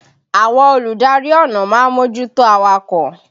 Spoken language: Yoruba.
Àwọn olùdarí ọ̀nà ma ń mójútó awakọ̀.